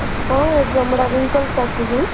କୋଉ exam ଗୁଡାକ wrinkles ଆସୁଛି